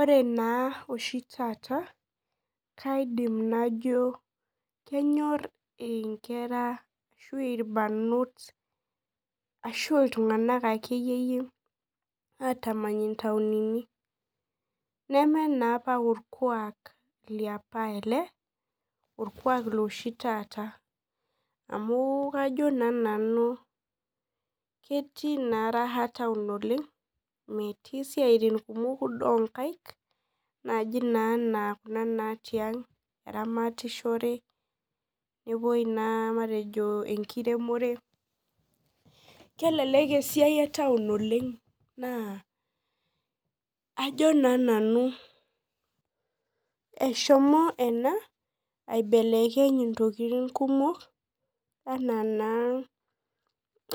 Ore na oshi taata kaidim najo kenyor nkera ashu irbarnot ashu ltunganak akeyie atamany ntauni neaku meorkuak leapa ele orkuak letaata neaku kajo na nanu ketii na raha taun oleng metii siatin kumok ana eramatare matejo enkiremore, kelek esiai etaun oleng na ajobna nanu eahomo ena aibelekeny ntokitin kumok ana naa